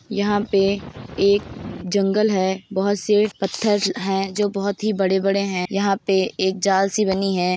यहाँ पे एक जंगल है बोहोत से पत्थर हैं जो बोहोत ही बड़े-बड़े हैं। यहाँ पे एक जाल सी बनी है।